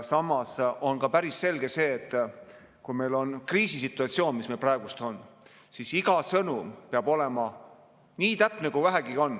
Samas on päris selge see, et kui meil on kriisisituatsioon, mis praegu on, siis iga sõnum peab olema nii täpne, kui vähegi saab.